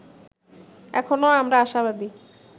এখনো আমরা আশাবাদী